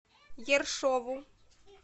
ершову